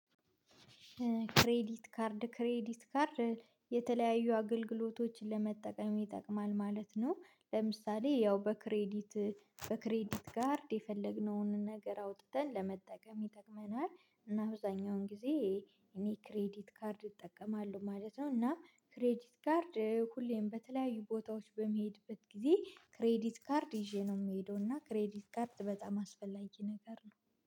ክሬዲት ካርድ ክሬዲት ካርድ የተለያዩ አገልግሎቶችን ለመጠቀም ይጠቅማል ማለት ነው። ለምሳሌ ያው በክሬዲት በክሬዲት ካርድ የፈለግነውን ነገር አውጥተን ለመጠቀም ይጠቅመናል እና አብዛኛውን ጊዜ። እኔ ክሬዲት ካርድ እጠቀማለሁ ማለት ነው። እና ክሬዲት ካርድ ሁሌም በተለያዩ ቦታዎች በመሄድበት ጊዜ ክሬዲት ካርድ ይዤ ነው የምሄደው። እና ክሬዲት ካርት በጣም አስፈላጊ ነገር ነው